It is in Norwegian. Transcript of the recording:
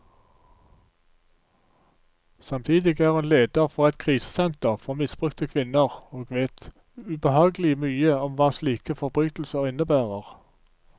Samtidig er hun leder for et krisesenter for misbrukte kvinner, og vet ubehagelig mye om hva slike forbrytelser innebærer.